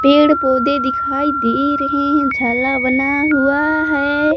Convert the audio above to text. पेड़ पौधे दिखाई दे रहे हैं झाला बना हुआ है।